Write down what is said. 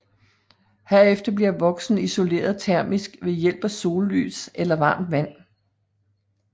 Herefter bliver voksen isoleret termisk ved hjælp af sollys eller varmt vand